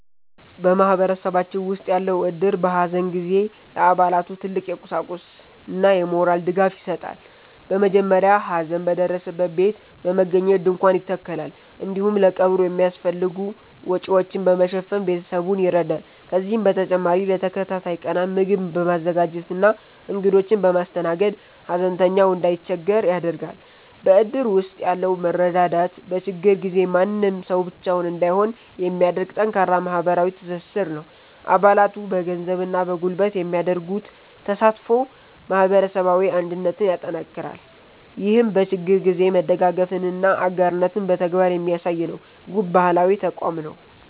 በማህበረሰባችን ውስጥ ያለው እድር፣ በሐዘን ጊዜ ለአባላቱ ትልቅ የቁሳቁስና የሞራል ድጋፍ ይሰጣል። በመጀመሪያ ሐዘን በደረሰበት ቤት በመገኘት ድንኳን ይተከላል፤ እንዲሁም ለቀብሩ የሚያስፈልጉ ወጪዎችን በመሸፈን ቤተሰቡን ይረዳል። ከዚህም በተጨማሪ ለተከታታይ ቀናት ምግብ በማዘጋጀትና እንግዶችን በማስተናገድ፣ ሐዘንተኛው እንዳይቸገር ያደርጋል። በእድር ውስጥ ያለው መረዳዳት፣ በችግር ጊዜ ማንም ሰው ብቻውን እንዳይሆን የሚያደርግ ጠንካራ ማህበራዊ ትስስር ነው። አባላቱ በገንዘብና በጉልበት የሚያደርጉት ተሳትፎ ማህበረሰባዊ አንድነትን ያጠናክራል። ይህም በችግር ጊዜ መደጋገፍንና አጋርነትን በተግባር የሚያሳይ፣ ውብ ባህላዊ ተቋም ነው።